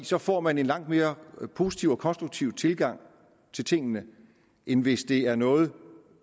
så får man en langt mere positiv og konstruktiv tilgang til tingene end hvis det er noget